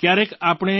ક્યારેક આપણે